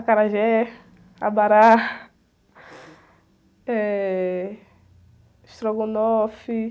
Acarajé, abará, eh, estrogonofe.